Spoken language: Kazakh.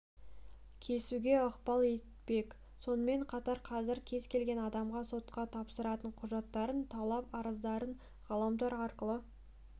кесуге ықпал етпек сонымен қатар қазір кез келген адамға сотқа тапсыратын құжаттарын талап-арыздарын ғаламтор арқылы